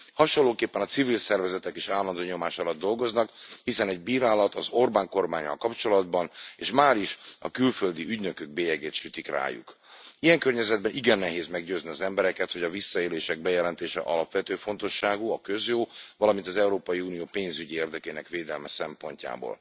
Hasonlóképpen, a civil szervezetek is állandó nyomás alatt dolgoznak, hiszen egy bírálat az Orbán kormánnyal kapcsolatban, és máris a külföldi ügynökök bélyegét sütik rájuk. Ilyen környezetben igen nehéz meggyőzni az embereket, hogy a visszaélések bejelentése alapvető fontosságú a közjó, valamint az Európai Unió pénzügyi érdekének védelme szempontjából.